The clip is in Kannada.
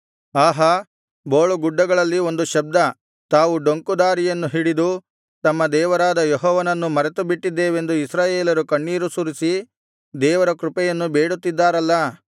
ಆಹಾ ಬೋಳುಗುಡ್ಡಗಳಲ್ಲಿ ಒಂದು ಶಬ್ದ ತಾವು ಡೊಂಕು ದಾರಿಯನ್ನು ಹಿಡಿದು ತಮ್ಮ ದೇವರಾದ ಯೆಹೋವನನ್ನು ಮರೆತುಬಿಟ್ಟಿದ್ದೇವೆಂದು ಇಸ್ರಾಯೇಲರು ಕಣ್ಣೀರು ಸುರಿಸಿ ದೇವರ ಕೃಪೆಯನ್ನು ಬೇಡುತ್ತಿದ್ದಾರಲ್ಲಾ